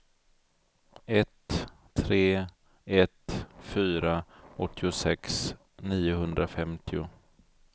ett tre ett fyra åttiosex niohundrafemtio